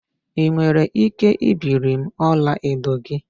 Ị nwere ike ibiri m ọlaedo gị?